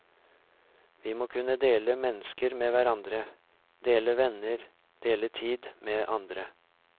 Vi må kunne dele mennesker med hverandre, dele venner, dele tid med andre.